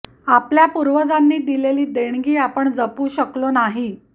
आपल्या पूर्वजांनी दिलेली देणगी आपण जपू शकलो नाही